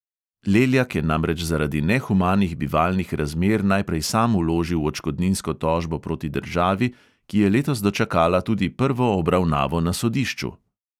Leljak je namreč zaradi nehumanih bivalnih razmer najprej sam vložil odškodninsko tožbo proti državi, ki je letos dočakala tudi prvo obravnavo na sodišču.